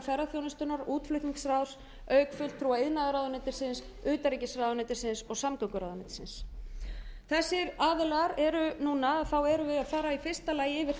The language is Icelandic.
ferðaþjónustunnar útflutningsráðs auk fulltrúa inðaðarráðuneytisins utanríkisráðuneytisins og samgönguráðuneytisins þessir aðilar eru núna að fara í fyrsta lagi yfir